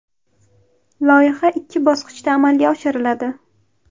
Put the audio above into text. Loyiha ikki bosqichda amalga oshiriladi.